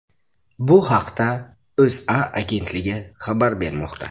Bu haqda O‘zA agentligi xabar bermoqda .